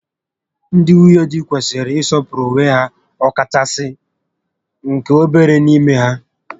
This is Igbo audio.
Ndị nwunye di kwesịrị ị sọpụrụ onwe ha, ọkachasị nke obere n'ime ha